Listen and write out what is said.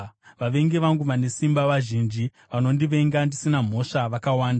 Vavengi vangu vane simba vazhinji; vanondivenga ndisina mhosva vakawanda.